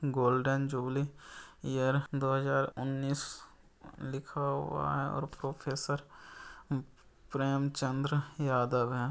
Golden jubilee year दो हजार उन्नीस लिखा हुआ है और प्रोफेसर चंद्र यादव है।